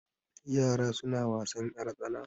Yara suna wasan ƴartsana.